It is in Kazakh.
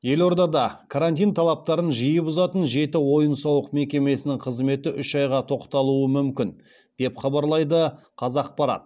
елордада карантин талаптарын жиі бұзатын жеті ойын сауық мекемесінің қызметі үш айға тоқтатылуы мүмкін деп хабарлайды қазақпарат